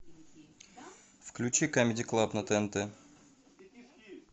включи камеди клаб на тнт